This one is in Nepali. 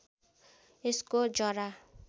यसको जरा